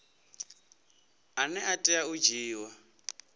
ane a tea u dzhiiwa